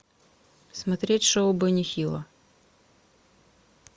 смотреть шоу бенни хилла